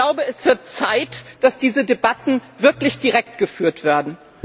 Ich glaube, es wird Zeit, dass diese Debatten wirklich direkt geführt werden.